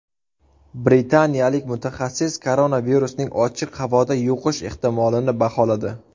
Britaniyalik mutaxassis koronavirusning ochiq havoda yuqish ehtimolini baholadi.